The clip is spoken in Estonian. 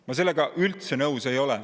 Ma sellega üldse nõus ei ole.